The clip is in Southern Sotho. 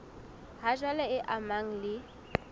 ha jwale e amanang le